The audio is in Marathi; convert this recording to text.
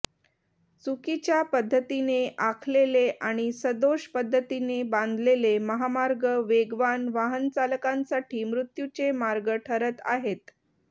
चुकीच्या पद्धतीने आखलेले आणि सदोष पद्धतीने बांधलेले महामार्ग वेगवान वाहनचालकांसाठी मृत्यूचे मार्ग ठरत आहेत